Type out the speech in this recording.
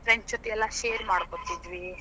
Friends ಜೊತಿ ಎಲ್ಲಾ share ಮಾಡ್ಕೋತಿದ್ವಿ.